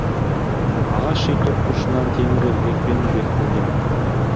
ағаш үй төрт бұрышынан темір ілгекпен бекітілген